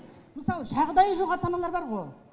мысалы жағдайы жоқ ата аналар бар ғой